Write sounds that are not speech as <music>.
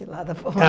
Lá da <unintelligible>